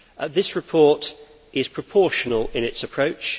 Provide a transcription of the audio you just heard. This report is proportional in its approach